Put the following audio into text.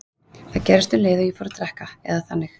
Það gerðist um leið og ég fór að drekka, eða þannig.